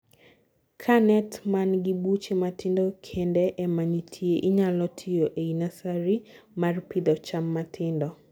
kaa net man gi buche matindo kende ema nitie inyalo tigo eii nursery mar pidho cham matindo